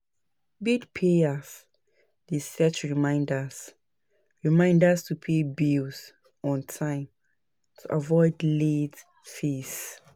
Bill payers dey set reminders reminders to pay bills on time to avoid late fees.